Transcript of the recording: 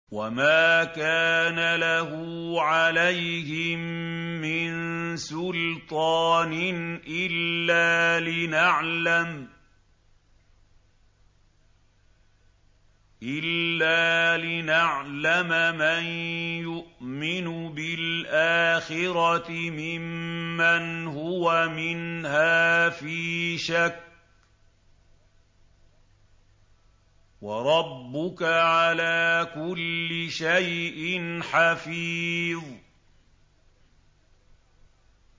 وَمَا كَانَ لَهُ عَلَيْهِم مِّن سُلْطَانٍ إِلَّا لِنَعْلَمَ مَن يُؤْمِنُ بِالْآخِرَةِ مِمَّنْ هُوَ مِنْهَا فِي شَكٍّ ۗ وَرَبُّكَ عَلَىٰ كُلِّ شَيْءٍ حَفِيظٌ